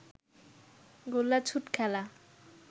গোল্লাছুট খেলা